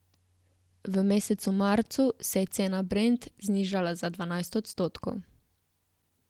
V mesecu marcu se je cena brent znižala za dvanajst odstotkov.